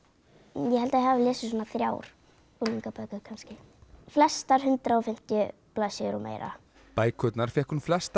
ég held ég hafi lesið svona þrjár unglingabækur kannski flestar hundrað og fimmtíu blaðsíður og meira bækurnar fékk hún flestar